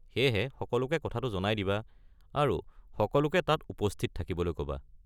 সেয়েহে, সকলোকে কথাটো জনাই দিবা আৰু সকলোকে তাত উপস্থিত থাকিবলৈ ক'বা।